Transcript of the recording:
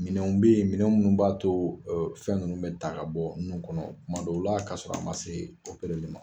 Minɛnw bɛ yen minɛn minnu b'a to fɛn ninnu bɛ ta ka bɔ nun kɔnɔ kuma dɔw la ka sɔrɔ a ma se ma.